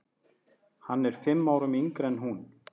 Hann er fimm árum yngri en hún.